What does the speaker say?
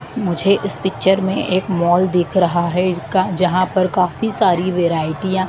मुझे इस पिक्चर में एक मॉल दिख रहा है इरका जहां पर काफी सारी वैरायटीयां --